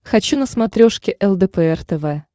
хочу на смотрешке лдпр тв